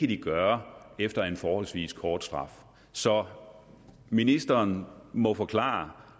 de gøre efter en forholdsvis kort straf så ministeren må forklare